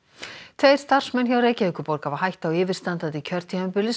tveir starfsmenn hjá Reykjavíkurborg hafa hætt á yfirstandandi kjörtímabili